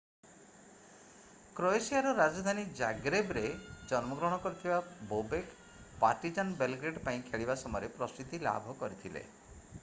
କ୍ରୋଏସିଆର ରାଜଧାନୀ ଜାଗ୍ରେବରେ ଜନ୍ମଗ୍ରହଣ କରିଥିବା ବୋବେକ୍ ପାର୍ଟିଜାନ୍ ବେଲଗ୍ରେଡ୍ ପାଇଁ ଖେଳିବା ସମୟରେ ପ୍ରସିଦ୍ଧି ଲାଭ କରିଥିଲେ